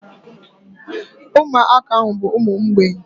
Umuaka ahu bu umu mgbei